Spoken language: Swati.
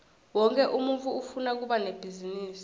wonkhe umuntfu ufuna kuba nebhizinisi